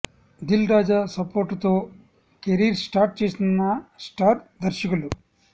Dil Raju support తో career start చేసిన star దర్శకులు